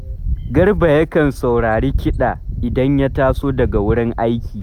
Garba yakan saurari kiɗa idan ya taso daga wurin aiki